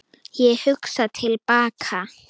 Ég hugsa til baka.